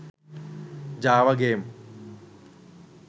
java game